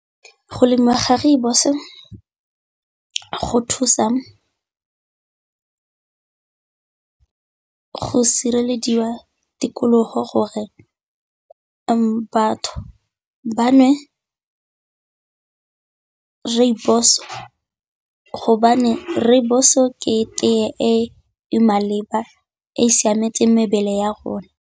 Go lemiwa ga rooibos go thusa go sirelediwa tikologo gore batho ba nwe rooibos, hobane rooibos o ke tee e maleba e e siametseng mebele ya rona.